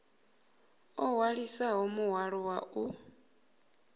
o hwalisana muhwalo wa u